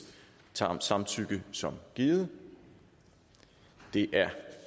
samtykke som givet det er